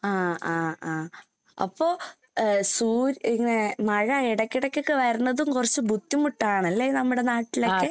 ആഹ് ആഹ് ആഹ്. അപ്പോ ഏഹ് സൂര് ഇങ്ങനെ മഴ എടയ്ക്കെടയ്ക്കൊക്കെ വരുന്നതും കൊറച്ച് ബുദ്ധിമുട്ടാണല്ലേ നമ്മടെ നാട്ടിലൊക്കെ?